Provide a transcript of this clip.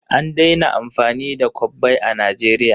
An daina amfani da kwabbai a Najeriya.